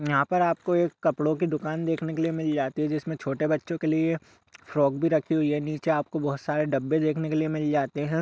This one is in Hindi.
यहाँ पर आपको एक कपड़ों की दुकान देखने के मिल जाती है। जिसमे छोटे बच्चों के लिए फ़्रॉक भी रखी हुई है। नीचे आपको बहोत सारे डब्बे देखने के लिए मिल जाते हैं।